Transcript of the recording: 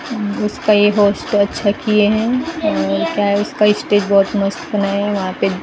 उसका ये होस्ट अच्छा किए हैं और क्या है उसका स्टेज बहुत मस्त बनाएं हैं वहां पे--